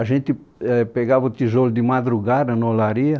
A gente éh pegava o tijolo de madrugada na olaria.